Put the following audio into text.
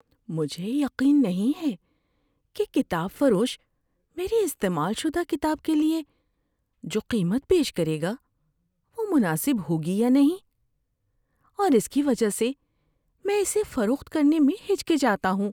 مجھے یقین نہیں ہے کہ کتاب فروش میری استعمال شدہ کتاب کے لیے جو قیمت پیش کرے گا وہ مناسب ہوگی یا نہیں، اور اس کی وجہ سے میں اسے فروخت کرنے میں ہچکچاتا ہوں۔